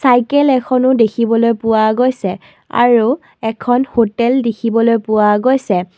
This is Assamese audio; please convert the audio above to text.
চাইকেল এখনো দেখিবলৈ পোৱা গৈছে আৰু এখন হোটেল দেখিবলৈ পোৱা গৈছে।